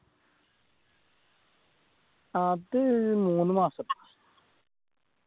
അത് മൂന്നുമാസം